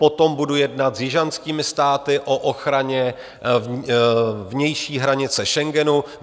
Potom budu jednat s jižanskými státy o ochraně vnější hranice Schengenu.